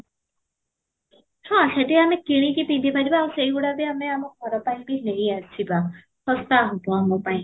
ହଁ, ସେଠି ଆମେ କିଣିକି ପିନ୍ଧି ପାରିବା ଆଉ ସେଇ ଗୁଡା ବି ଆମେ ଆମ ଘର ପାଇଁ ବି ନେଇ ଆସିବା ଶସ୍ତା ହେବ ଆମ ପାଇଁ